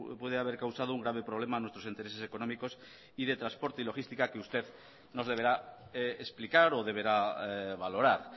puede haber causado un grave problema a nuestros intereses económicos y de transporte y logística que usted nos deberá explicar o deberá valorar